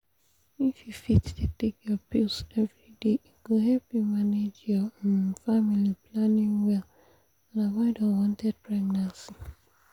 if you fit dey take your pills every day e go help you manage your um family planning well and avoid unwanted pregnancy!